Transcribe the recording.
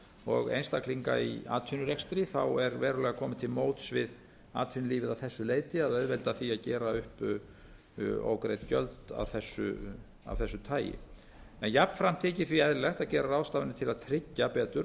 og einstaklinga í atvinnurekstri er verulega komið til móts við atvinnulífið að þessu leyti að auðvelda því að gera upp ógreidd gjöld af þessu tagi jafnframt þykir því eðlilegt að gera ráðstafanir til tryggja betur